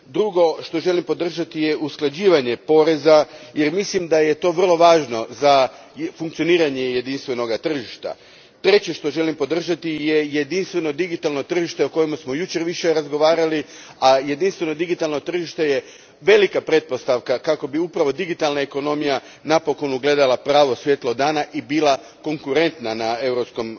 Drugo što želim podržati je usklađivanje poreza, jer mislim da je to vrlo važno za funkcioniranje jedinstvenoga tržišta. Treće što želim podržati je jedinstveno digitalno tržište o kojemu smo jučer više razgovarali, a jedinstveno digitalno tržište je velika pretpostavka kako bi upravo digitalna ekonomija napokon ugledala pravo svjetlo dana i bila konkurentna na europskome